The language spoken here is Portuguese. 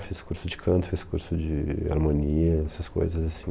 Eu fiz curso de canto, fiz curso de harmonia, essas coisas assim.